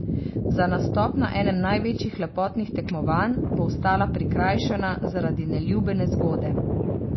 Za nastop na enem največjih lepotnih tekmovanj bo ostala prikrajšana zaradi neljube nezgode.